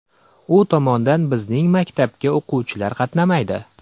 U tomondan bizning maktabga o‘quvchilar qatnamaydi.